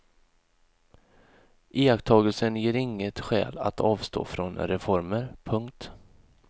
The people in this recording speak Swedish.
Iakttagelsen ger inget skäl att avstå från reformer. punkt